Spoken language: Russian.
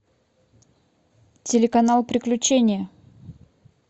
телеканал приключения